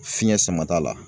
Fiɲɛ samata la.